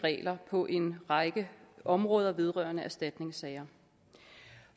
regler på en række områder vedrørende erstatningssager